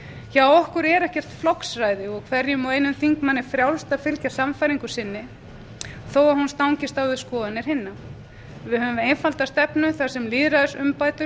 hjá okkur er ekkert flokksræði og hverjum og einum þingmanni er frjálst að fylgja sannfæringu sinni þó að hún stangist á við skoðanir hinna við höfum einfalda stefnu þar sem lýðræðisumbætur